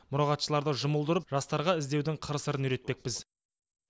мұрағатшыларды жұмылдырып жастарға іздеудің қыр сырын үйретпекпіз